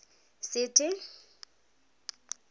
sethe